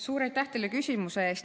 Suur aitäh teile küsimuse eest!